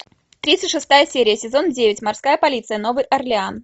тридцать шестая серия сезон девять морская полиция новый орлеан